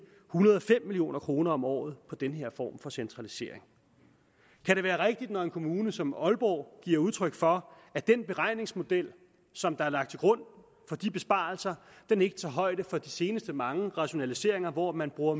hundrede og fem million kroner om året på den her form for centralisering kan det være rigtigt når en kommune som aalborg giver udtryk for at den beregningsmodel som er lagt til grund for de besparelser ikke tager højde for de seneste mange rationaliseringer hvor man bruger